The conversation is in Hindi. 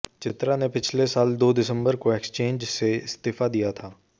चित्रा ने पिछले साल दो दिसंबर को एक्सचेंज से इस्तीफा दिया था